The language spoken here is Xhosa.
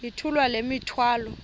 yithula le mithwalo